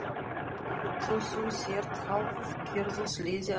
Þó þú sért hálfgerður sleði að lesa.